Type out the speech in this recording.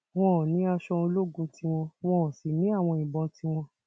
wọn ní aṣọ ológun tiwọn wọn sì ní àwọn ìbọn tiwọn